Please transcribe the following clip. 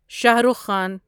Shah Rukh Khan